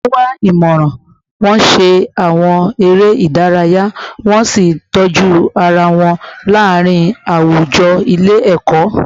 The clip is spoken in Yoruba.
Wọ́n wá ìmọ̀ràn, wọ́n ṣe àwọn eré ìdárayá, wọ́n sì ń tọ́jú ara wọn láàárín àwùjọ ilé ẹ̀kọ́